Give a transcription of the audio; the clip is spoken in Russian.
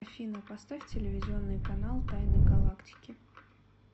афина поставь телевизионный канал тайны галактики